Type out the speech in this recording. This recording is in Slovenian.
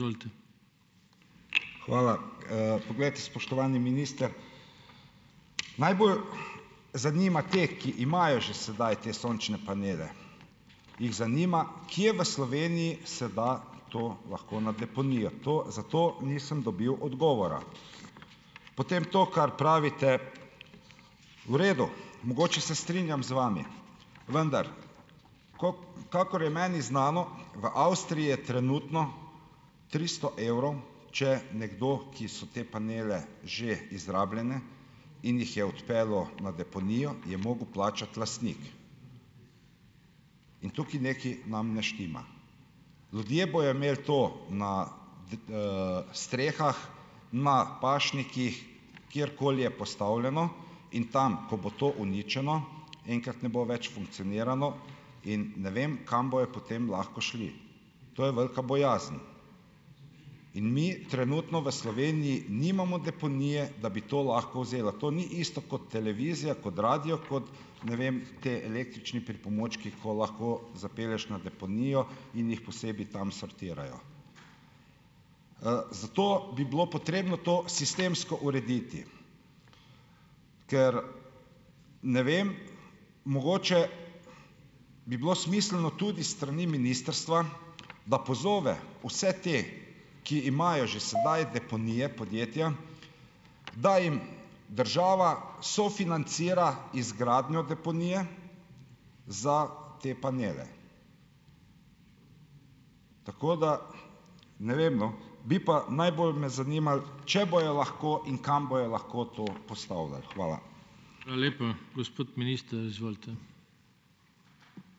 Hvala. Poglejte, spoštovani minister, najbolj zanima te, ki imajo že sedaj te sončne panele, jih zanima, kje v Sloveniji se da to lahko na deponijo, to za to nisem dobil odgovora. Potem to, kar pravite, v redu, mogoče se strinjam z vami, vendar, kakor je meni znano, v Avstriji je trenutno tristo evrov, če nekdo, ki so te panele, že izrabljene, in jih je odpeljal na deponijo, je mogel plačati lastnik in tukaj nekaj nam ne štima. Ljudje bojo imeli to na strehah, na pašnikih, kjerkoli je postavljeno in tam, ko bo to uničeno, enkrat ne bo več funkcioniralo in, ne vem, kam bojo potem lahko šli. To je velika bojazen in mi trenutno v Sloveniji nimamo deponije, da bi to lahko vzela. To ni isto kot televizija, kot radio, kot, ne vem, ti električni pripomočki, ko lahko zapelješ na deponijo in jih posebej tam sortirajo. Zato bi bilo potrebno to sistemsko urediti, ker, ne vem, mogoče bi bilo smiselno tudi strani ministrstva, da pozove vse te, ki imajo že sedaj deponije, podjetja, da jim država sofinancira izgradnjo deponije za te panele. Tako da. Ne vem, no. Bi pa najbolj me zanimalo, če bojo lahko in kam bojo lahko to postavljali. Hvala.